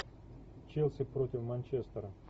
челси против манчестера